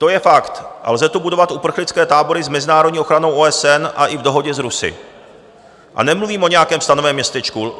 To je fakt a lze tu budovat uprchlické tábory s mezinárodní ochranou OSN a i v dohodě s Rusy, a nemluvím o nějakém stanovém městečku.